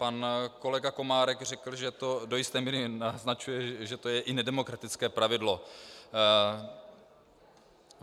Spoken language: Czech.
Pan kolega Komárek řekl, že to do jisté míry naznačuje, že je to i nedemokratické pravidlo.